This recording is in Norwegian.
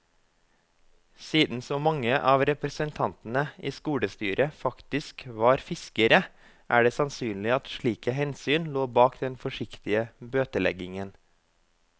Siden så mange av representantene i skolestyret faktisk var fiskere, er det sannsynlig at slike hensyn lå bak den forsiktige bøteleggingen.